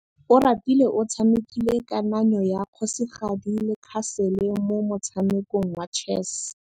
Oratile o tshamekile kananyô ya kgosigadi le khasêlê mo motshamekong wa chess.